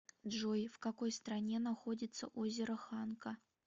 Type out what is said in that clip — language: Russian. джой в какой стране находится озеро ханка